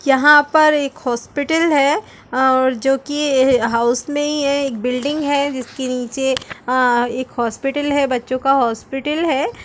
यहाँ पर एक हॉस्पिटल है और जो कि हाउस में ही है एक बिल्डिंग है जिसके नीचे अ एक हॉस्पिटल है बच्चों का हॉस्पिटल है।